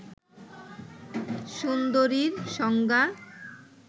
সুন্দরীর সংজ্ঞা